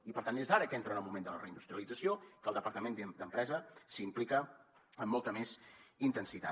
i per tant és ara que entra en el moment de la reindustrialització que el departament d’empresa s’hi implica amb molta més intensitat